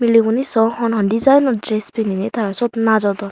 mileguney saw hon hon designor dress pininey tara syot najodon.